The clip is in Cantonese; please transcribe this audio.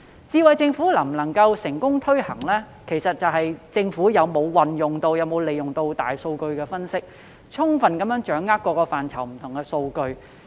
"智慧政府"能否成功推行，其實視乎政府有否運用和利用大數據分析，充分掌握各個範疇的不同數據。